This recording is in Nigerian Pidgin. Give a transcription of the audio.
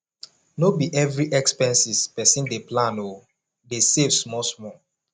no be every expenses pesin dey plan o dey save smallsmall